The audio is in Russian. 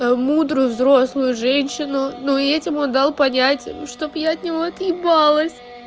мудрую взрослую женщину но и этим он дал понять чтобы я от него отъебалась